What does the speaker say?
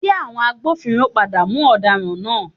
Ṣé àwọn agbófinró padà mú ọ̀daràn náà?